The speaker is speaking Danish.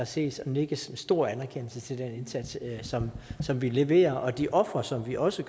ses og nikkes med stor anerkendelse til den indsats som som vi leverer og de ofre som vi også